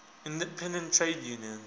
independent trade unions